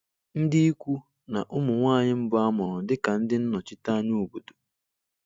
Ndị ikwu na ụmụ nwanyị mbụ a mụrụ dị ka ndị nnọchiteanya obodo.